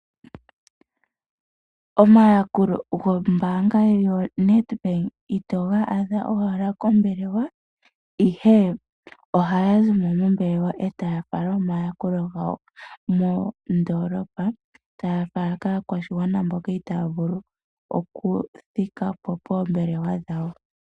Omayakulo gombaanga yoNedbank itoga adha owala kombelewa ihe ,ohaya zimo mombelewa etaya fala omayakulo gawo mondoolopa taya fala kaakwashigwana mboka itaavulu oku thikapo poombelewa dhawo.